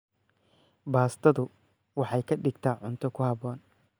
Baastadu waxay ka dhigtaa cunto ku habboon.